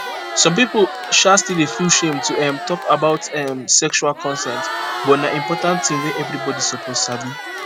some people um still dey feel shame to um talk about um sexual consent but na important thing wey everybody suppose sabi